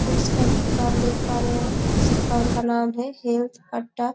fruits दुकान हम देख सकते है इस दुकान का नाम है हैल्थ अड्डा--